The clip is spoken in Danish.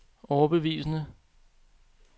overbevisende